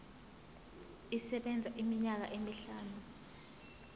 isebenza iminyaka emihlanu